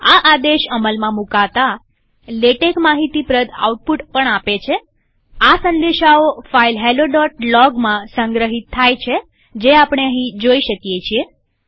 આ આદેશ અમલમાં મુકતાલેટેક માહિતી પ્રદ આઉટપુટ પણ આપે છેઆ સંદેશાઓ ફાઈલ hellologમાં સંગ્રહિત થાય છે જે આપણે અહીં જોઈ શકીએ છીએ